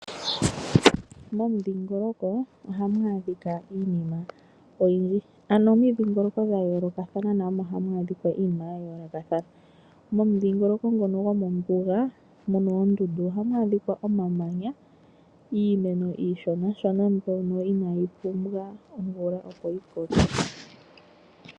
Momudhingoloko ohamu adhika iinima oyindji. Momidhingoloko dha yoolokathana namo ohamu adhika iinima ya yoolokathana. Momudhingoloko ngono gomombuga omu na oondundu ohamu adhika omamanya, iimeno iishonashona mbyoka inayi pumbwa omvula, opo yi koke.